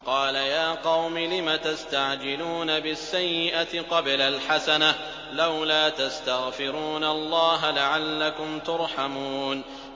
قَالَ يَا قَوْمِ لِمَ تَسْتَعْجِلُونَ بِالسَّيِّئَةِ قَبْلَ الْحَسَنَةِ ۖ لَوْلَا تَسْتَغْفِرُونَ اللَّهَ لَعَلَّكُمْ تُرْحَمُونَ